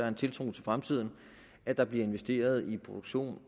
en tiltro til fremtiden at der bliver investeret i produktion